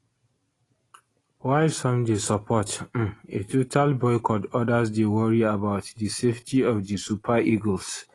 while some dey support um a total boycott odas dey worry about di safety of di super eagles